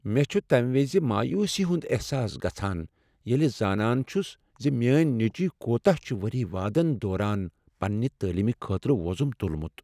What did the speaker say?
مےٚ چھ تمہ وِزِ مایوسی ہنٛد احساس گژھان ییٚلہ زانان چھُس ز میٲنۍ نیٚچوۍ كوتاہ چُھ ؤری وادن دوران پننہٕ تعلیم خٲطرٕ ووزُم تُلمُت ۔